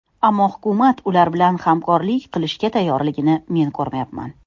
Ammo hukumat ular bilan hamkorlik qilishga tayyorligini men ko‘rmayapman.